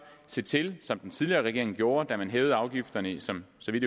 se til som den tidligere regering gjorde da man hævede afgifterne som så vidt